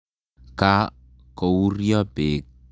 Ka kouryo peek.